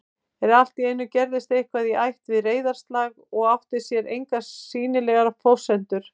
En alltíeinu gerðist eitthvað í ætt við reiðarslag og átti sér engar sýnilegar forsendur